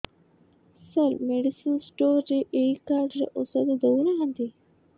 ସାର medicine store ରେ ଏଇ card ରେ ଔଷଧ ଦଉନାହାନ୍ତି